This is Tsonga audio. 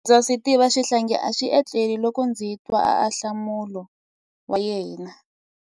Ndza swi tiva xihlangi a xi etlele loko ndzi twa ahlamulo wa yena.